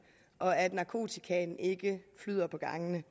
og at narkotikaen ikke flyder på gangene